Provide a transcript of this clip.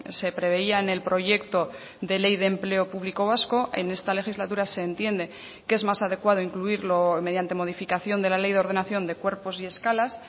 se preveía en el proyecto de ley de empleo público vasco en esta legislatura se entiende que es más adecuado incluirlo mediante modificación de la ley de ordenación de cuerpos y escalas